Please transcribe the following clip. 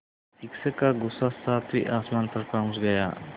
शिक्षक का गुस्सा सातवें आसमान पर पहुँच गया